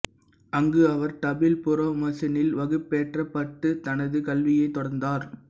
அங்கு அவர் டபிள் புறொமோசனில் வகுப்பேற்றப்பட்டுத் தனது கல்வியைத் தொடர்ந்தார்